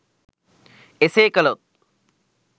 එසේ කළොත්